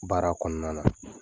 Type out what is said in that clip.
Baara kɔnɔna na